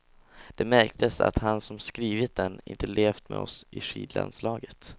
Det märktes att han som skrivit den inte levt med oss i skidlandslaget.